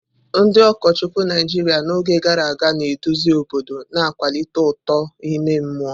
Ndị ụkọchukwu Naijiria n'oge gara aga na-eduzi obodo, na-akwalite uto ime mmụọ.